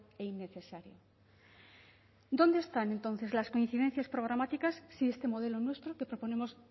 e innecesario dónde están entonces las coincidencias programáticas si este modelo nuestro que proponemos